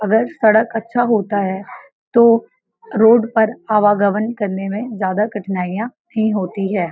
अगर सड़क अच्छा होता है तो रोड पर आवागवन करने में ज्यादा कठनाईयाँ नहीं होती है ।